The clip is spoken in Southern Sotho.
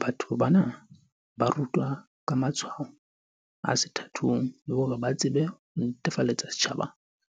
"Batho bana ba rutwa ka matshwao a sethathong, le hore ba tsebe ho netefaletsa setjhaba